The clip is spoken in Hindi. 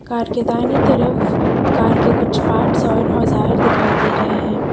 कार के दाहिने तरफ कार के कुछ पार्ट्स और औजार दिखाई दे रहे हैं।